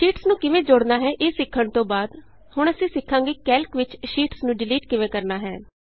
sheets ਨੂੰ ਕਿਵੇਂ ਜੋੜਨਾ ਹੈ ਇਹ ਸਿੱਖਣ ਤੋਂ ਬਾਅਦ ਹੁਣ ਅਸੀਂ ਸਿੱਖਾਂਗੇ ਕੈਲਕ ਵਿਚ ਸ਼ੀਟਸ ਨੂੰ ਡਿਲੀਟ ਕਿਵੇਂ ਕਰਨਾ ਹੈ